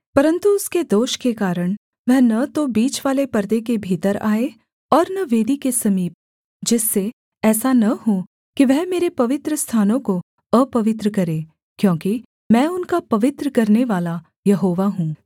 परन्तु उसके दोष के कारण वह न तो बीचवाले पर्दे के भीतर आए और न वेदी के समीप जिससे ऐसा न हो कि वह मेरे पवित्रस्थानों को अपवित्र करे क्योंकि मैं उनका पवित्र करनेवाला यहोवा हूँ